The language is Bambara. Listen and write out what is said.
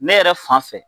Ne yɛrɛ fan fɛ